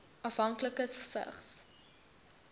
afhanklikes vigs